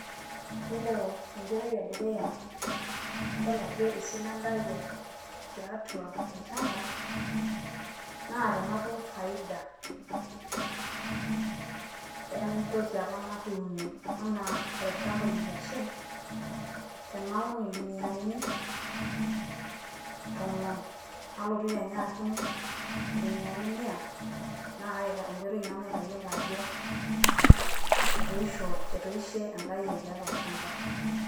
Yiolo enkoitoi e dukuya nadol ajo eisula endaa ai tiatua olchamba. Naa tenatum faida entoki apa natuuno enaa for example nkuashen tenaun irkuniyiani tomon nalotu kenya atum irkuniani mia naa enkoitoi ina naitayiolo ajo etoishie endaa ai tiatua olchamba.